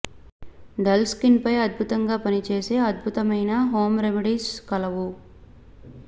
dull skin పై అద్భుతంగా పనిచేసే అద్భుతమైన హోమ్ రెమెడీస్ కలవు